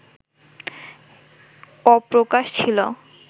অপ্রকাশ ছিল